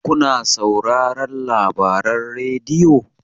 kuna sauraron labaran rediyo?